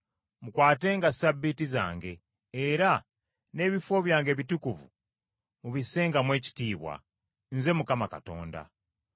Mukwatenga Ssabbiiti zange, era n’ebifo byange ebitukuvu mubissengamu ekitiibwa. Nze Mukama Katonda.